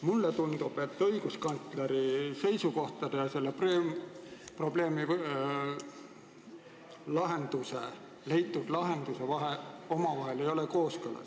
Mulle tundub, et õiguskantsleri seisukohtade ja selle probleemi lahenduse vahel ei ole kooskõla.